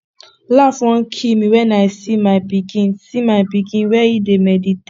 laugh wan kill me wen i see my pikin see my pikin where he dey meditate